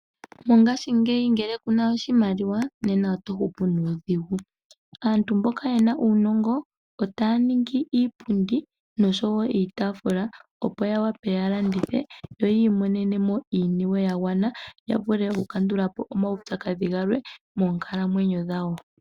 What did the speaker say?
Mongashingeyi ngele kuna oshimaliwa nena otatu hupu. Aantu mboka yena uunogo otaa ningi iipundi noshowo iitafula opo ya wape ya landithe yo yi imonene iiniwe ya gwana ya vule oku kandulapo omawutsadhi galwe moonkalamwenyo dhawo.